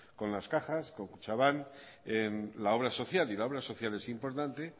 con las cajas con kutxabank en la obra social y la obra social es importante